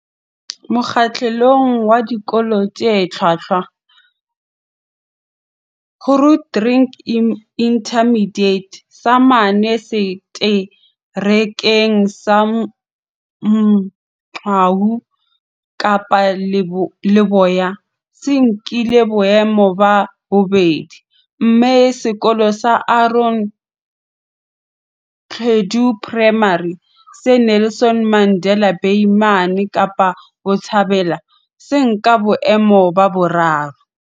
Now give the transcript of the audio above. Mokgahlelong wa Dikolo tse Hlwahlwa, Grootdrink Intermediate, se mane Seterekeng sa Mgcawu, Kapa Leboya, se nkile boemo ba bobedi, mme Sekolo sa Aaron Gqedu Primary, se Nelson Mandela Bay mane Kapa Botjhabela, sa nka boemo ba boraro.